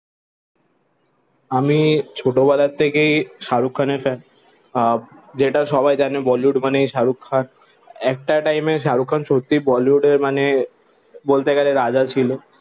আমি ছোট বেলা থেকেই শাহরুখ খানের fan আহ যেটা সবাই জানে bollywood মানে শাহরুখ খান একটা টাইম এ শাহরুখ খান সত্য বলিউডের মানে বলতে গেলে রাজা ছিল